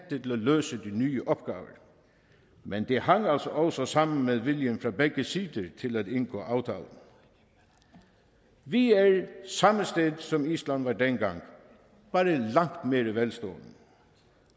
løse de nye opgaver men det hang altså også sammen med viljen fra begge sider til at indgå aftalen vi er samme sted som island var dengang bare langt mere velstående